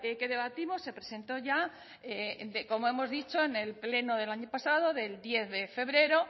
que debatimos se presentó ya como hemos dicho en el pleno del año pasado del diez de febrero